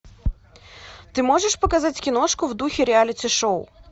ты можешь показать киношку в духе реалити шоу